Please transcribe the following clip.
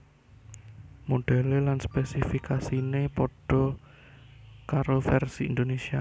Modhèlé lan spésifikasiné padha karo vèrsi Indonésia